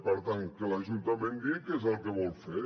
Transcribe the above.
per tant que l’ajuntament digui què és el que vol fer